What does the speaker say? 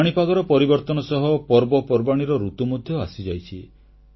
ପାଣିପାଗର ପରିବର୍ତନ ସହ ପର୍ବପର୍ବାଣୀର ଋତୁ ମଧ୍ୟ ଆସିଯାଇଛି